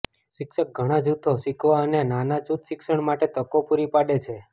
શિક્ષક ઘણા જૂથો શીખવા અને નાના જૂથ શિક્ષણ માટે તકો પૂરી પાડે છે